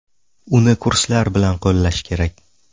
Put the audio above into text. Uni kurslar bilan qo‘llash kerak.